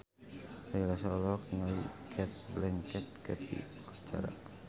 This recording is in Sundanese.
Ari Lasso olohok ningali Cate Blanchett keur diwawancara